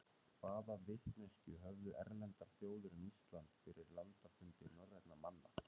hvaða vitneskju höfðu erlendar þjóðir um ísland fyrir landafundi norrænna manna